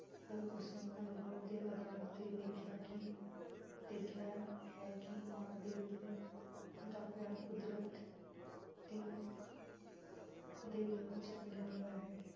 ਪਰ ਉਸਨੇ ਅਨੁਭਵ ਦੇ ਆਧਾਰ ਤੇ ਦੇਖਿਆ ਕਿ ਦੇਖਿਆ ਹੈ ਕਿ ਮਾਂ ਦੇ ਦਿਲ ਦਾ ਪਿਆਰ ਕੁਦਰਤ ਦੀ ਦਇਆ ਵਿੱਚ ਰੰਗਿਆ ਹੋਇਆ ਹੈ।